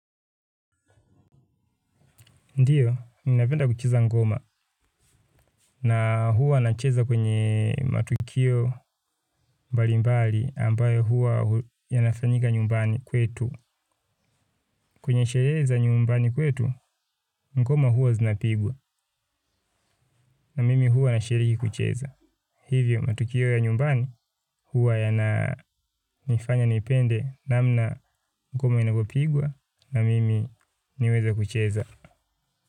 Ndiyo, ninapenda kucheza ngoma na huwa nacheza kwenye matukio mbali mbali ambayo huwa yanafanyika nyumbani kwetu. Kwenye sherehe za nyumbani kwetu, ngoma huwa zinapigwa na mimi huwa nashiriki kucheza. Hivyo, matukio ya nyumbani huwa yananifanya nipende namna ngoma inavyopigwa na mimi niweze kucheza.